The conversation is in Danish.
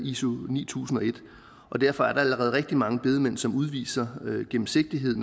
iso ni tusind og en og derfor er der allerede rigtig mange bedemænd som udviser gennemsigtighed